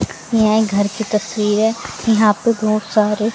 यह घर की तस्वीरें है यहां पे बहोत सारे--